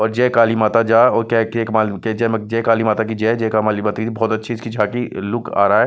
और जय काली माता जा जय काली माता की जय जय काली माता की बहुत अच्छी झाँकी इसका लुक आ रहा है।